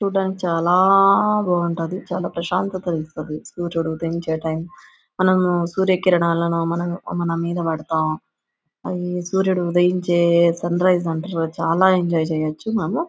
చూడడానికి చాలా బాగుంటది. చాలా ప్రశాంతతను ఇస్తది సూర్యుడు ఉదయించే టైం మనము సూర్యకిరణాలను మనం మన మీద పడతాం. సూర్యుడు ఉదయించే సన్రైస్ అంటరు. చాలా ఎంజాయ్ చేయొచ్చు మనం.